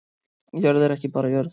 Jörð er ekki bara jörð